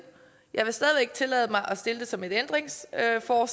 jeg vil stadig væk tillade mig at stille det som et ændringsforslag for